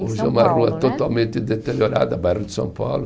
Hoje é uma rua totalmente deteriorada, bairro de São Paulo.